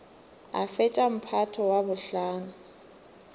a fetša mphato wa bohlano